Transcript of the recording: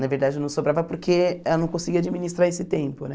Na verdade não sobrava porque ela não conseguia administrar esse tempo, né?